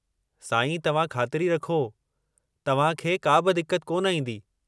सांई तव्हां ख़ातिरी रखो तव्हां खे काबि दिक्कत कोन ईंदी।